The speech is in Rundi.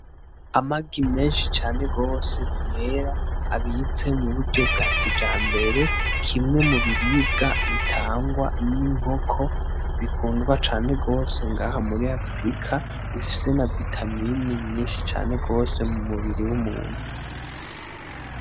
Amagi menshi cane gose yera abize mu buryo bwa kijambere kimwe mu biribwa bitangwa n'inkoko bikundwa cane gose ngaha muri Afrika bifise na vitamine nyishi cane gose mu mubiri w'umuntu.